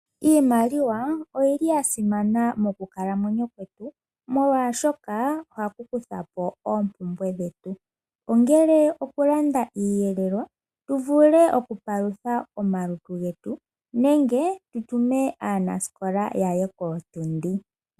Iimaliwa oyili ya simana mokukalamwenyo kwetu molwa shoka ohaku kukutha po oompumbwe dhetu ngele okulanda iiyelelwa tu vule oku palutha omalutu getu nenge tu tume aanasikola ya ye kootundi.